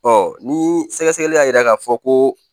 Ɔ ni sɛgɛsɛgɛli y'a yira k'a fɔ ko